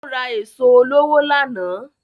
Ó ra èso olówó lánàá